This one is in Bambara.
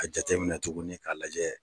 A jate minɛ tugunni k'a lajɛ.